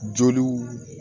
Joliw